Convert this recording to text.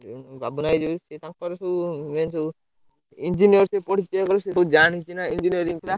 ଉଁ ବାବୁନା ଭାଇ ଯୋଉ ସେ ତାଙ୍କର ସବୁ main ସବୁ Engineering ପଢିଛି ସେ ଜାଣିଛି ନା Engineering ପିଲା।